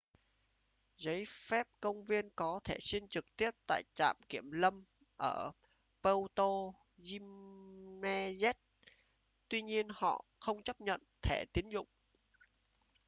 giấy phép công viên có thể xin trực tiếp tại trạm kiểm lâm ở puerto jiménez tuy nhiên họ không chấp nhận thẻ tín dụng